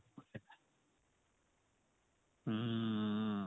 hm